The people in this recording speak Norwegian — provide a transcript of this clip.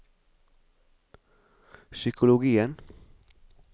psykologien